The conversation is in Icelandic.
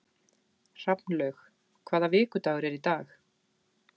Hrafnlaug, hvaða vikudagur er í dag?